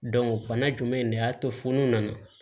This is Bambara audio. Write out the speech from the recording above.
bana jumɛn de y'a to funu na